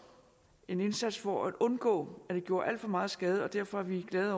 en indsats for at undgå at det gjorde alt for meget skade og derfor er vi glade